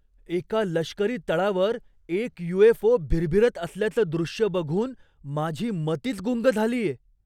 एका लष्करी तळावर एक यू. एफ. ओ. भिरभिरत असल्याचं दृश्य बघून माझी मतीच गुंग झालीय.